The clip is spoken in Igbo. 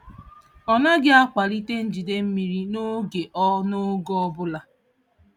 Ọ naghị akwalite njide mmiri n'oge ọ n'oge ọ bụla.